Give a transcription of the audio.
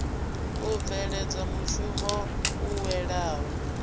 u bveledza mushumo u welaho